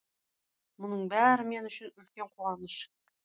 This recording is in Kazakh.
мұның бәрі мен үшін үлкен қуаныш